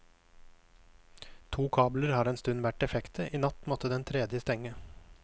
To kabler har en stund vært defekte, i natt måtte den tredje stenge.